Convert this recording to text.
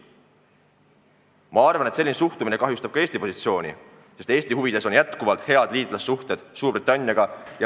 Ma arvan, et selline suhtumine kahjustab ka Eesti positsiooni, sest Eesti huvides on jätkuvalt head liitlassuhted Suurbritanniaga.